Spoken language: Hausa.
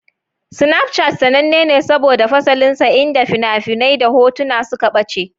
Snapchat sananne ne saboda fasalinsa inda fina-finai da hotuna suka ɓace.